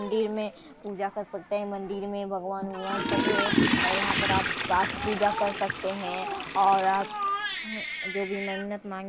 मंदिर में पूजा कर सकते हैं मंदिर में भगवान और यहां पर आप पाठ पूजा कर सकते हैं और आप जो भी मन्नत मांग--